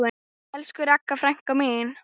Elsku Ragga frænka mín.